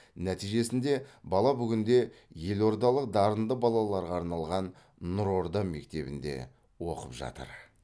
нәтижесінде бала бүгінде елордалық дарынды балаларға арналған нұрорда мектебінде оқып жатыр